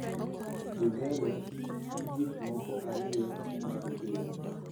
dhi mbele gi gik moko ariyo mag piny